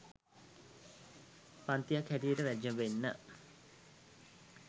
පංතියක් හැටියට වැජඹෙන්න